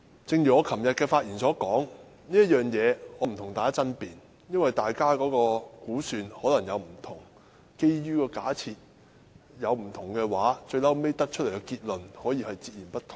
正如我昨天發言時所說，我不會與大家爭辯這一點，因為大家的估算可能不一樣，基於假設不同，最終得出的結論也可以截然不同。